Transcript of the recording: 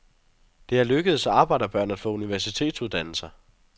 Det er lykkedes arbejderbørn at få universitetsuddannelser.